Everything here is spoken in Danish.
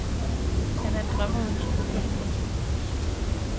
Han er en drømmer uden skrupler. punktum